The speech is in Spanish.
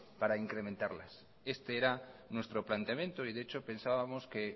para incrementarlas este era nuestro planteamiento y de hecho pensábamos que